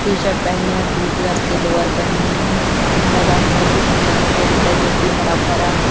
T-shirt पहने हैं blue colour के लोअर पहने हैं ये मैदान बहुत ही सुंदर दिखाई देता है जो कि हरा भरा है ।